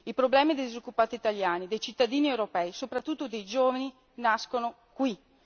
I problemi dei disoccupati italiani, dei cittadini europei, soprattutto dei giovani, nascono qui!